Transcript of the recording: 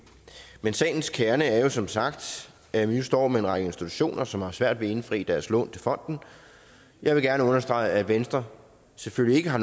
men sagens kerne er jo som sagt at vi nu står med en række institutioner som har svært ved at indfri deres lån til fonden jeg vil gerne understrege at venstre selvfølgelig ikke har